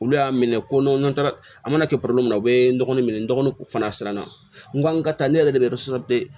Olu y'a minɛ ko n'u taara an mana kɛ min na u bɛ dɔgɔnin minɛ dɔgɔnin fana siranna n ko n ka taa ne yɛrɛ de bɛ